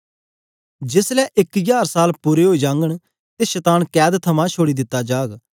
जेस ले इक जार साल पूरे ओई जाघंन ते शतान कैद थमां छोड़ी दित्ता जाग